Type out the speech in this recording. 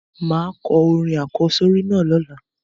Máà ko orin àkósórí náà lọ́la